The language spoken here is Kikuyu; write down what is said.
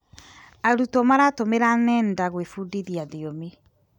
Arutwo maratũmĩra nenda gwĩbundithia thiomi.